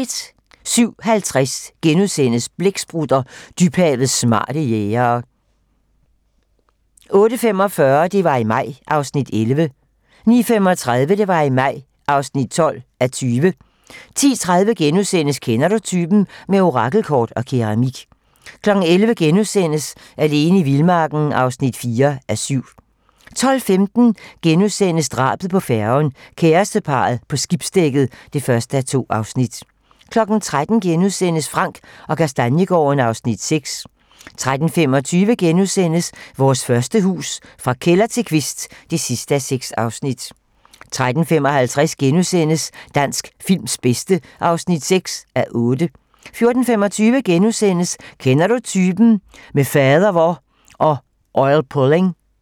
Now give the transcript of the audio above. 07:50: Blæksprutter: Dybhavets smarte jægere * 08:45: Det var i maj (11:20) 09:35: Det var i maj (12:20) 10:30: Kender du typen? - Med orakelkort og keramik * 11:00: Alene i vildmarken (4:7)* 12:15: Drabet på færgen - kæresteparret på skibsdækket (1:2)* 13:00: Frank & Kastaniegaarden (Afs. 6)* 13:25: Vores første hus - Fra kælder til kvist (6:6)* 13:55: Dansk films bedste (6:8)* 14:25: Kender Du Typen? - Med fadervor og oilpulling *